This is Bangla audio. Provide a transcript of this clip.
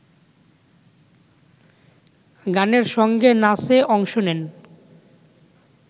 গানের সঙ্গে নাচে অংশ নেন